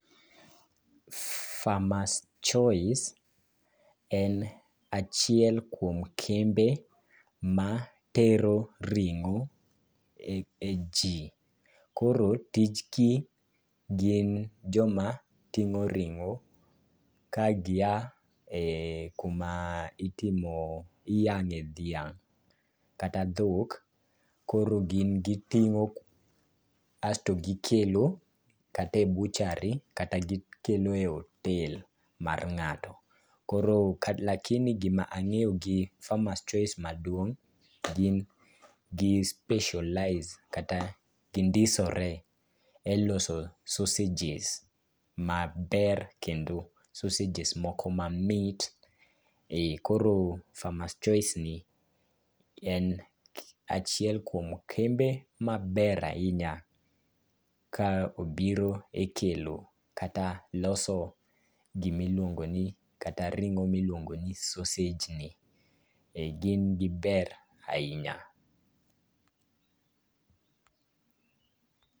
Farmer's Choice en achiel kuom kembe ma tero ring'o e ji. Koro tichgi gin joma ting'o ring'o ka gia e kuma iyang'e dhiang' kata dhok, koro gin giting'o asto gikelo kata e butchery kata gikelo e otel mar ng'ato. Lakini gima ang'eyo gi Farme'rs Choice maduong' gin gi specialize kata gindisore e loso sausages maber kendo sausages moko mamit. Koro Farmer's Choice ni en achiel kuom kembe maber ahinya ka obiro e kelo kata loso gimiluongo ni kata ring'o miluongoni sausageni. Gin giber ahinya.